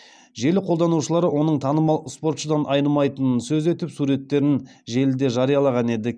желі қолданушылары оның танымал спортшыдан айнымайтынын сөз етіп суреттерін желіде жариялаған еді